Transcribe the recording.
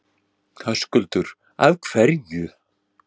Höskuldur: Af hverju?